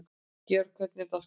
Georgía, hvernig er dagskráin?